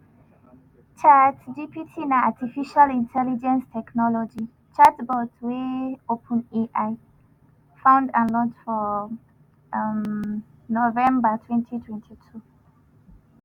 chatgpt na artificial intelligence technology chatbot wey openai found and launch for um november twenty twenty two